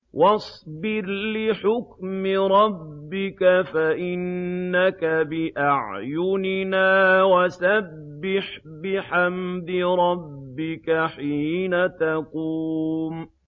وَاصْبِرْ لِحُكْمِ رَبِّكَ فَإِنَّكَ بِأَعْيُنِنَا ۖ وَسَبِّحْ بِحَمْدِ رَبِّكَ حِينَ تَقُومُ